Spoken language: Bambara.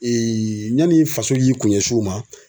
Ee yanni faso k'i kun ɲɛsin o ma